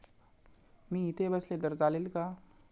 मी इथे बसले तर चालेल का?